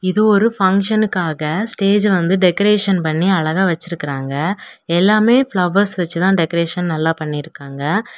இது ஒரு பங்ஷனுக்காக ஸ்டேஜ் வந்து டெகரேஷன் பண்ணி அழகா வெச்சிருக்குறாங்க எல்லாமே பிளவர்ஸ் வெச்சி தான் டெகரேஷன் நல்லா பண்ணிருக்காங்க.